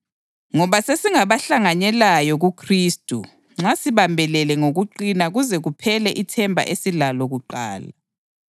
Ngoba sesingabahlanganyelayo kuKhristu nxa sibambelele ngokuqina kuze kuphele ithemba esasilalo kuqala.